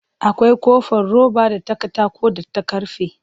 Akwai ƙofar roba da ta katako da ta karfe